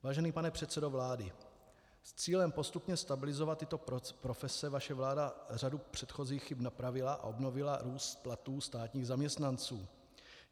Vážený pane předsedo vlády, s cílem postupně stabilizovat tyto profese vaše vláda řadu předchozích chyb napravila a obnovila růst platů státních zaměstnanců.